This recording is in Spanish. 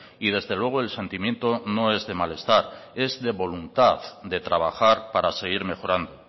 y desde luego el sentimiento no es de malestar es de voluntad de trabajar para seguir mejorando